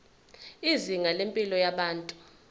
izinga lempilo yabantu